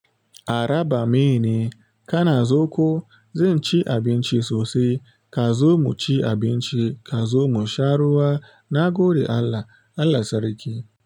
Araba mai ne, kana zo ko? Zan ci abinci sosai ka zo mu ci abinci ka zo mu sha ruwa na gode Allah, Allah sarki.